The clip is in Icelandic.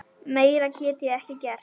Meira get ég ekki gert.